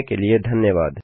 देखने के लिए धन्यवाद